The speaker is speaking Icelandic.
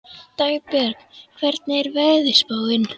Dagbjörg, hvernig er veðurspáin?